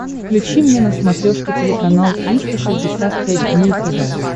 включи мне на смотрешке телеканал триста шестьдесят пять дней тв